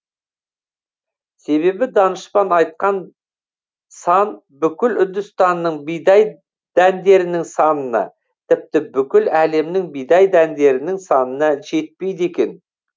себебі данышпан айтқан сан бүкіл үндістанның бидай дәндерінің санына тіпті бүкіл әлемнің бидай дәндерінің санына жетпейді екен